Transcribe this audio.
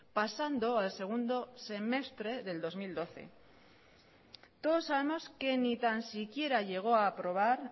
pasando al segundo semestre del dos mil doce todos sabemos que ni tan siquiera llegó a aprobar